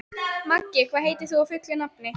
Maggi, hvað heitir þú fullu nafni?